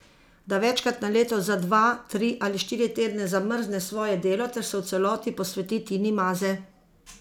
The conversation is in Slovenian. Da večkrat na leto za dva, tri ali štiri tedne zamrzne svoje delo ter se v celoti posveti Tini Maze.